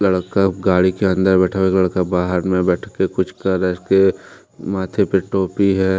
लड़का गाड़ी के अंदर बैठा हुआ एक लड़का बाहर में बैठ के कुछ कर रहा है इसके माथे पे टोपी है।